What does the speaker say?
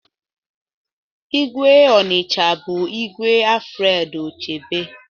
Igwe Onicha bụ Igwe Alfred Achebe